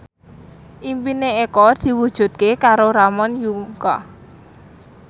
impine Eko diwujudke karo Ramon Yungka